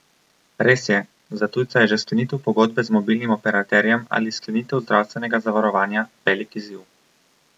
Res je, za tujca je že sklenitev pogodbe z mobilnim operaterjem ali sklenitev zdravstvenega zavarovanja velik izziv.